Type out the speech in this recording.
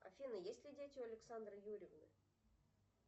афина есть ли дети у александры юрьевны